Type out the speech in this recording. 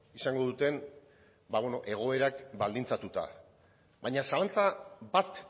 izango duten egoerak baldintzatuta baina zalantza bat